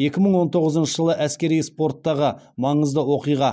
екі мың он тоғызыншы жылы әскери спорттағы маңызды оқиға